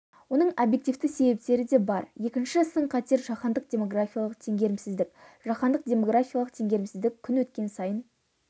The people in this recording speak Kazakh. оның объективті себептері де бар екінші сын-қатер жаһандық демографиялық теңгерімсіздік жаһандық демографиялық теңгерімсіздік күн өткен сайын